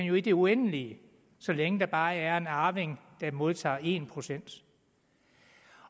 jo i det uendelige så længe der bare er en arving der modtager en procent